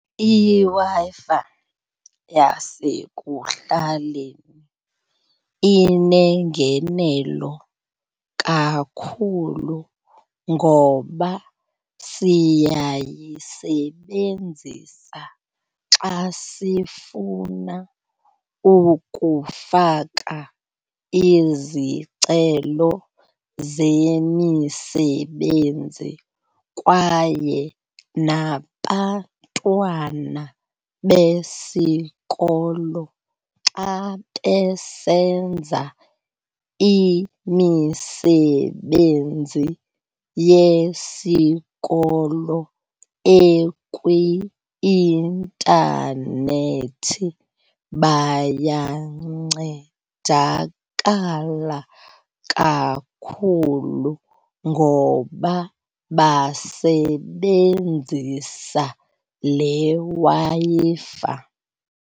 IWi-Fi yasekuhlaleni inengenelo kakhulu ngoba siyayisebenzisa xa sifuna ukufaka izicelo zemisebenzi kwaye nabantwana besikolo xa besenza imisebenzi yesikolo ekwi-intanethi bayancedakala kakhulu ngoba basebenzisa le Wi-Fi.